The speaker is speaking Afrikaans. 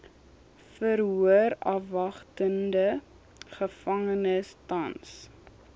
verhoorafwagtende gevangenes tans